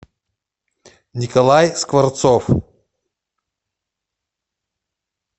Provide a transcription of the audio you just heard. николай скворцов